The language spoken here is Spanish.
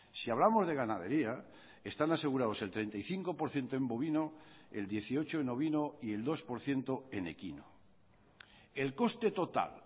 si hablamos de ganadería están asegurados el treinta y cinco por ciento en bovino el dieciocho en ovino y el dos por ciento en equino el coste total